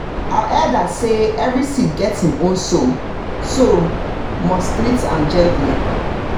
our elders say every seed get him own soul so must treat am gentle.